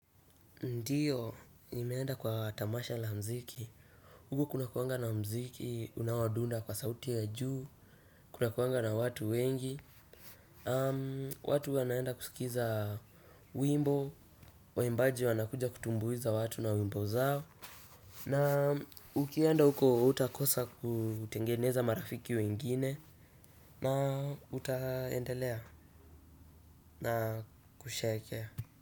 Ndiyo, nimeenda kwa tamasha la muziki. Huko kunakuanga na muziki, unaodunda kwa sauti ya juu, kunakuanga na watu wengi. Watu wanaenda kusikiza wimbo, waimbaji wanakuja kutumbuiza watu na wimbo zao. Na ukienda huko, hutakosa kutengeneza marafiki wengine. Na utaendelea na kusherehekea.